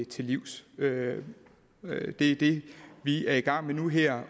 til livs det er det vi er i gang med nu her